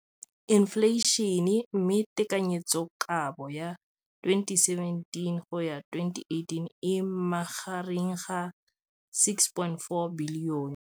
Infleišene, mme tekanyetsokabo ya 2017, 18, e magareng ga R6.4 bilione.